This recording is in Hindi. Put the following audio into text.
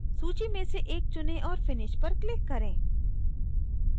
सूची में से एक चुनें और finish पर click करें